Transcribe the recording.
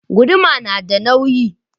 Guduma yana da nauyi.